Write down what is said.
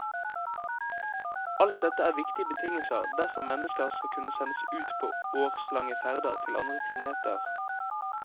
Alt dette er viktige betingelser dersom mennesker skal kunne sendes ut på årslange ferder til andre planeter.